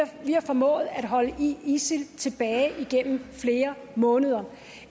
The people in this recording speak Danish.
har formået at holde isil tilbage igennem flere måneder